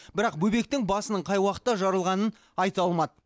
бірақ бөбектің басының қай уақытта жарылғанын айта алмады